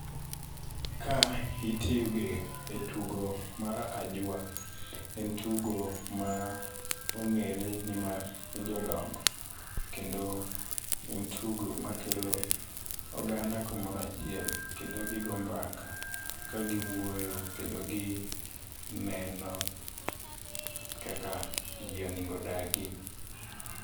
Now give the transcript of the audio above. Ka ituge etugo mar ajwa. En tugo ma ong'ere ni mar jodongo. Kendo en tugo makelo oganda kamoro achiel. Kendo gi go mbaka kagi wuoyo kendo gineno kaka ji onengo odagi.